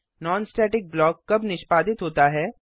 non static block कब निष्पादित होता है